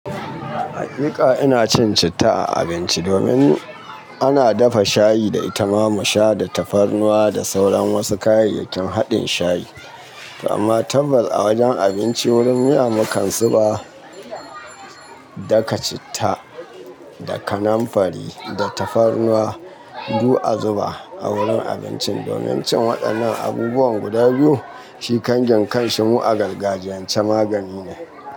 Hakika ina cin citta a abinci domin ana dafa shayi da ita. Ma mu sha da tafarnuwa da sauran wasu kayayyakin haɗin shayi. Amma tabbas a wajen abinci wurin miya, mu kan zu ba. Daka citta da kanamfari da tafarnuwa du a zuba a wurin abincin domin cin waɗannan abubuwan guda biyu shi kangin kanshi mu agargajiyan ce magani ne.